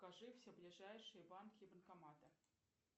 покажи все ближайшие банки и банкоматы